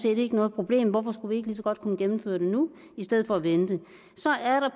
ikke noget problem hvorfor skulle vi ikke lige så godt kunne gennemføre det nu i stedet for at vente